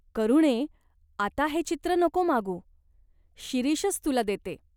"करुणे, आता हे चित्र नको मागू. शिरीषच तुला देते.